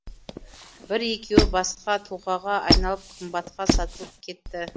бір екеуі басқа тұлғаға айналып қымбатқа сатылып кетті